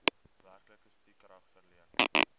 werklike stukrag verleen